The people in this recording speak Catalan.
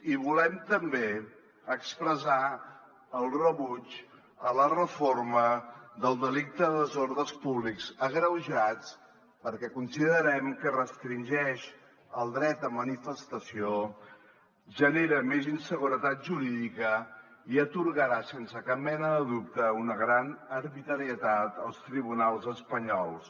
i volem també expressar el rebuig a la reforma del delicte de desordres públics agreujats perquè considerem que restringeix el dret a manifestació genera més inseguretat jurídica i atorgarà sense cap mena de dubte una gran arbitrarietat als tribunals espanyols